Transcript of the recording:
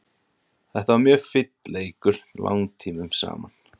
Þetta var mjög finn leikur langtímum saman.